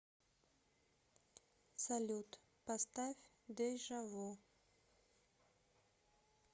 салют поставь дежа вю